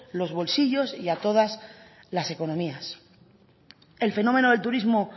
los bolsillos y a todas las economías el fenómeno del turismo